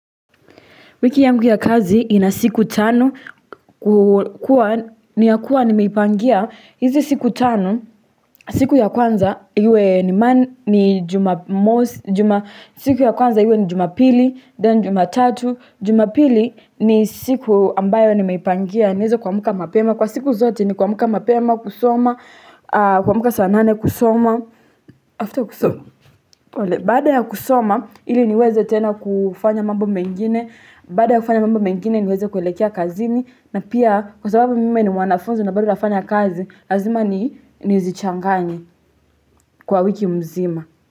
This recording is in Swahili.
Wiki ya nguya kazi ina siku tano kukua niyakuwa ni meipangia hizi siku tano siku ya kwanza iwe ni jumapili then jumatatu jumapili ni siku ambayo ni meipangia niweze kua mka mapema kwa siku zote ni kua mka mapema kusoma kua mka sanane kusoma after kusoma pole, baada ya kusoma, ili niweze tena kufanya mambo mengine, baada ya kufanya mambo mengine niweze kuelekea kazini, na pia kwa sababu mimi ni mwanafunzi na bado nafanya kazi, lazima ni nizichanganye kwa wiki mzima.